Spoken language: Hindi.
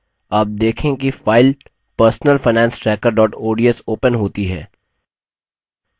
आप देखेंगे कि file personal finance tracker ods opens होती है